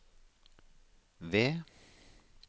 V